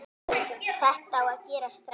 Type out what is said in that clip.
Þetta á að gerast strax.